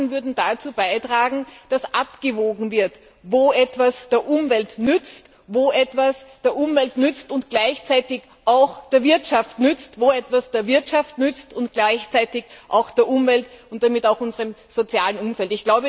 Diese Daten würden dazu beitragen, dass abgewogen wird, ob etwas der Umwelt nützt, ob etwas der Umwelt und gleichzeitig auch der Wirtschaft nützt, ob etwas der Wirtschaft nützt und gleichzeitig auch der Umwelt und damit auch unserem sozialen Umfeld.